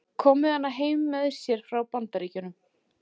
Kom með hana heim með sér frá Bandaríkjunum.